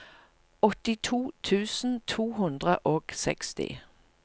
åttito tusen to hundre og seksti